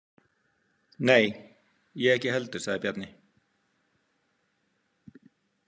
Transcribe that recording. Nei, ég ekki heldur, sagði Bjarni.